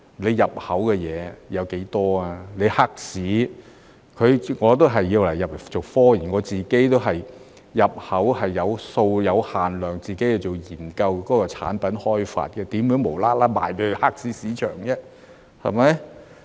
我入口也是為了做科研，我自己也是有限量入口，只是為了研究產品開發，怎會無緣無故賣給黑市市場呢？